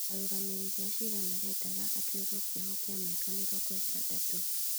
Arũgamĩrĩri a ciira marendaga atuĩrwo kĩoho kĩa mĩaka mĩrongo ĩtandatũ